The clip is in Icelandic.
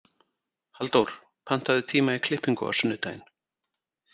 Halldór, pantaðu tíma í klippingu á sunnudaginn.